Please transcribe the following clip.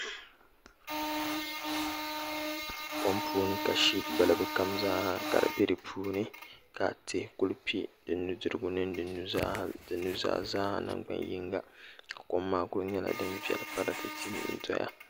Kom puuni ka shiip balibu kam zaa ha ka di bɛ di puuni ka tihi kuli pɛ di nudirigu mini di nuzaa nangbani yinga ka kom maa kuli piɛli zaa ha paratɛtɛ n doya